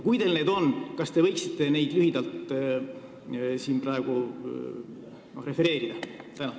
Kui teil need on, kas te võite neid lühidalt siin praegu refereerida?